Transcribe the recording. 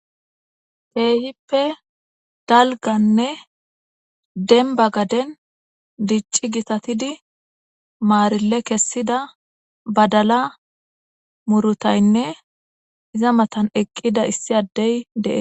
peehippe dalganne denba gaden dicci gitatidi maarille kessida badala murutaynne iza matan eqqida issi addey deen